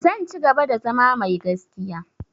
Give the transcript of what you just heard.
Zan cigaba da zama mai gaskiya.